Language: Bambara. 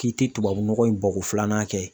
K'i tɛ tubabunɔgɔ in bɔko filanan kɛ